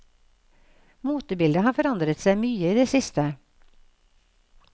Motebildet har forandret seg mye i det siste.